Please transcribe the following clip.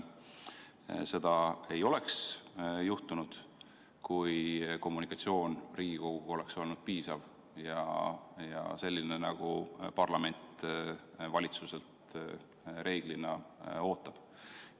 Seda ei oleks juhtunud, kui kommunikatsioon Riigikoguga oleks olnud piisav ja selline, nagu parlament valitsuselt reeglina ootab.